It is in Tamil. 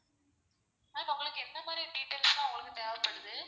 ma'am உங்களுக்கு எந்தமாறி details லாம் உங்களுக்கு தேவப்படுது?